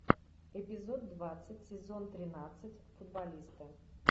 эпизод двадцать сезон тринадцать футболисты